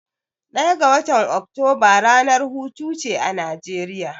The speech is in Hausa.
Ɗaya ga watan Oktoba ranar hutuce a Najeriya.